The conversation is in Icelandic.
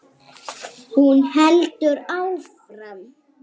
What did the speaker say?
Hún heldur áfram.